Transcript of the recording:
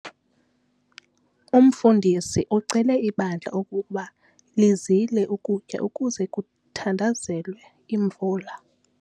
Umfundisi ucele ibandla ukuba lizile ukutya ukuze kuthandazelwe imvula.